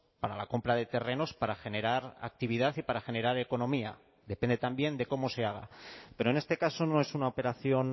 para la compra de terrenos para generar actividad y para generar economía depende también de cómo se haga pero en este caso no es una operación